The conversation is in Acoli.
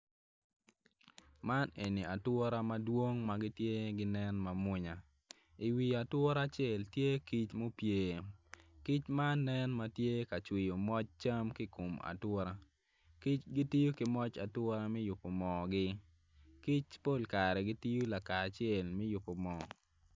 Man en ature ma tye ka nen madwong. I wi ature acel tye kic ma opye kic man nen ma tye ka cwiyo moc cam ki ikom ature.